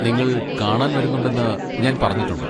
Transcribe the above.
നിങ്ങൾ കാണാൻ വരുന്നുണ്ടെന്ന് ഞാൻ പറഞ്ഞിട്ടുണ്ട്.